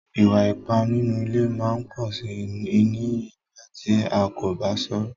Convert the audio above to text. Ìwà-ìpà nínú ilé máa ń pọ̀ sí iní nígbà tí a kò bá sọ̀rọ̀.